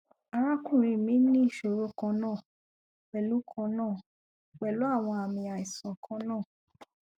arakunrin mi ni iṣoro kanna pẹlu kanna pẹlu awọn aami aisan kanna